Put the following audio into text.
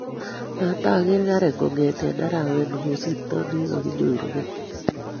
Matageer Karen kongete arawet nigosirtoi nikigakinyorugei